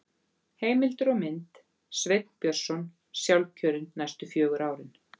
Heimildir og mynd: Sveinn Björnsson sjálfkjörinn næstu fjögur árin